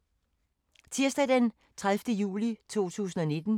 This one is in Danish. Tirsdag d. 30. juli 2019